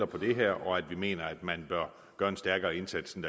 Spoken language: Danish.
på det her og at vi mener at man bør gøre en stærkere indsats end